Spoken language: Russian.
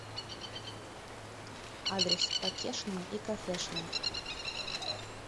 адрес покешная и кофешная